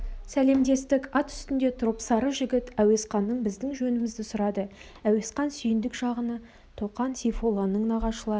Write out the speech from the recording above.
сәлемдестік ат үстінде тұрып сары жігіт әуесқаннан біздің жөнімізді сұрады әуесқан сүйіндік жағынікі тоқа сейфолланың нағашылары